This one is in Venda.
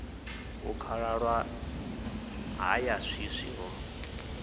hu khalaṅwaha ya swiswi ho